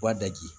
Wa daji